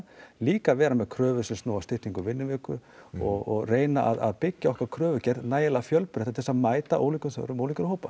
líka vera með kröfur sem snúa að styttingu vinnuviku og reyna að byggja okkar kröfugerð nægilega fjölbreytta til að mæta ólíkum þörfum ólíkra hópa